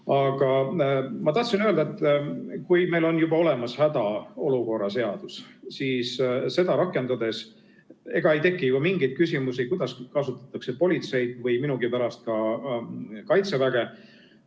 Aga ma tahtsin öelda, et kui meil on juba olemas hädaolukorra seadus, siis seda rakendades ei teki ju mingeid küsimusi, kuidas kasutatakse politseid või minugi pärast ka Kaitseväge.